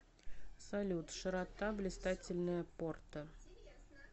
салют широта блистательная порта